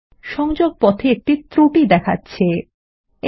সংযোগপথে একটি ত্রুটি দেখাচ্ছে160